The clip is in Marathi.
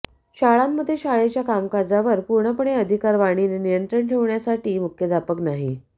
शाळांमध्ये शाळेच्या कामकाजावर पूर्णपणे अधिकार वाणीने नियंत्रण ठेवण्यासाठी मुख्याध्यापक नाही